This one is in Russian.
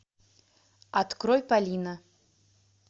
открой полина